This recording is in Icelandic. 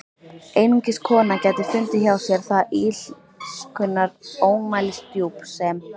Einungis kona gæti fundið hjá sér það illskunnar ómælisdjúp sem